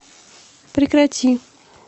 прекрати